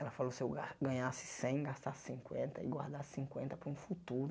Ela falou se eu gar ganhasse cem, gastasse cinquenta e guardasse cinquenta para um futuro.